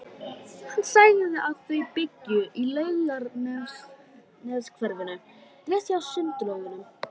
Hann sagði að þau byggju í Laugarneshverfinu, rétt hjá Sundlaugunum.